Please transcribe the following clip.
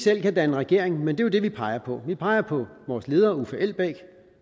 selv kan danne regering men det er jo det vi peger på vi peger på vores leder uffe elbæk